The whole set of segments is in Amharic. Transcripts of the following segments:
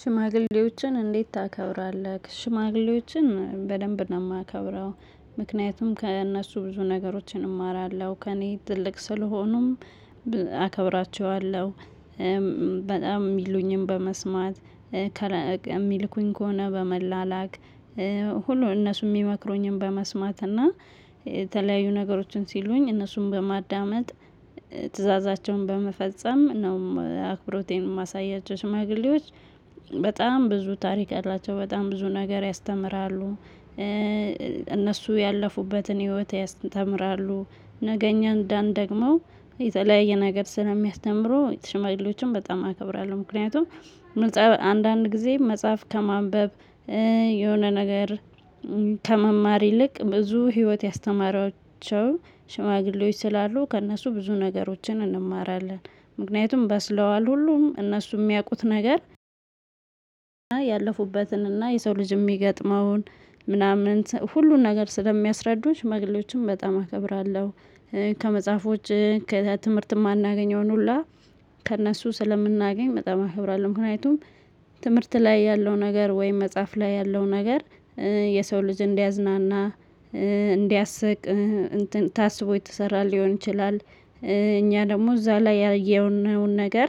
ሽማግሌዎችን እንዴት ታከብራለህ? ሽማግሌዎችን በደንብ ነው የማከብረው ምክንያቱም ከእነሱ ብዙ ነገሮችን እማራለሁ ከእኔ ትልቅ ስለሆኑም አከብራቸዋለሁ። በጣም የሚሉኝም በመስማት የሚልኩኝ ከሆነ በመላላክ ሁሉ እነሱ የሚመክሩኝን በመስማት እና የተለያዩ ነገሮችን ሲሉኝ እነሱን በማዳመጥ። ትእዛዛቸውን በመፈጸም እናም አክብሮቴን ማሳያቸው ሽማግሌዎች በጣም ብዙ ታሪክ አላቸው በጣም ብዙ ነገር ያስተምራሉ። እነሱ ያለፉበትን ህይወት ያስተምራሉ ነገ እኛ እንዳንደግመው የተለያየ ነገር ስለሚያስተምሩ ሽማግሌዎችን በጣም አከብራለሁ። ምክንያቱም ምልጫ አንዳንድ ጊዜ መጽሐፍ ከማንበብ የሆነ ነገር ከመማር ይልቅ ብዙ ህይወት ያስተማራቸውን ሽማግሌዎች ስላሉ ከእነሱ ብዙ ነገሮችን እንማራለን። ምክንያቱም በስለዋል ሁሉም እነሱ የሚያውቁት ነገር ያለፉበትንና የሰው ልጅ የሚገጥመውን ምናምን ሁሉን ነገር ስለሚያስረዱት ሽማግሌዎችን በጣም አከብራለሁ። ከመጽሐፎች ከትምህርት የማናገኘውን ሁላ ከእነሱ ስለምናገኝ በጣም አከብራለሁ። ምክንያቱም ትምህርት ላይ ያለው ነገር ወይም መጽሐፍ ላይ ያለው ነገር የሰው ልጅ እንዲያዝናና እንዲያስቅ እንትን ታስቦ የተሰራ ሊሆን ይችላል። እኛ ደግሞ እዛ ላይ ያየነውን ነገር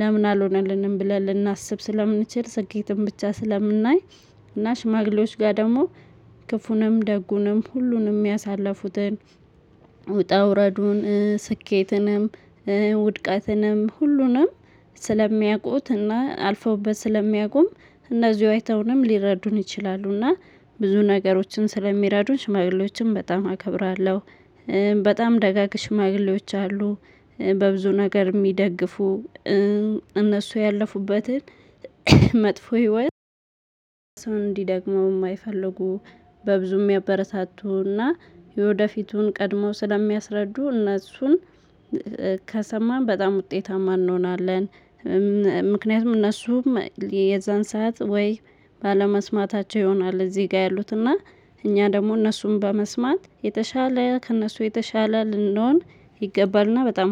ለምን አልሆነልንም ብለን ልናስብ ስለምንችል ስኬትም ብቻ ስለምናይ። እና ሽማግሌዎች ጋር ደግሞ ክፉንም ደጉንም ሁሉንም ያሳለፉትን ውጣ ውረዱን ስኬትንም ውድቀትንም ሁሉንም ስለሚያውቁትና አልፈውበት ስለሚያውቁም እነዚህ አይተውንም ሊረዱን ይችላሉና ብዙ ነገሮችን ስለሚረዱ ሽማግሌዎችም በጣም አከብራለሁ። በጣም ደጋግ ሽማግሌዎች አሉ በብዙ ነገር የሚደግፉ እነሱ ያለፉበትን መጥፎ ህይወት ሰው እንዲደግመው የማይፈልጉ በብዙም የሚያበረታቱና የወደፊቱን ቀድመው ስለሚያስረዱ እነሱን ከሰማን በጣም ውጤታማ እንሆናለን። ምክንያቱም እነሱም የዛን ሰዓት ወይ ባለመስማታቸው ይሆናል እዚህ ጋር ያሉትና እኛ ደግሞ እነሱን በመስማት የተሻለ ከእነሱ የተሻለ ልንሆን ይገባልና በጣም